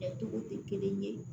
Kɛ togo tɛ kelen ye